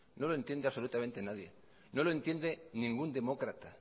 no lo entiende absolutamente nadie no lo entiende ningún demócrata